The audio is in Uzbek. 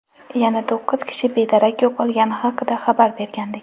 yana to‘qqiz kishi bedarak yo‘qolgani haqida xabar bergandik.